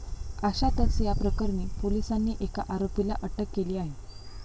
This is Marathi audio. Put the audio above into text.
अशातच या प्रकरणी पोलिसांनी एका आरोपीला अटक केली आहे.